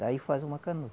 Daí faz uma canoa.